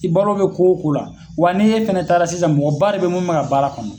I balo bɛ ko wo ko la wa n'i e fɛnɛ taara sisan mɔgɔba de beyi mun bɛ ka baara kɔnɔ.